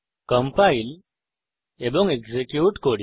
compile এবং execute করি